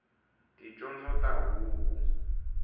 ticondzo ta huku